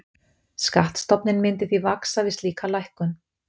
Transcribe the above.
Skattstofninn myndi því vaxa við slíka lækkun.